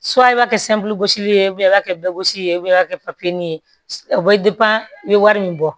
i b'a kɛ i b'a kɛ bɛɛ gosi ka kɛ papiye ye o bɛ i bɛ wari min bɔ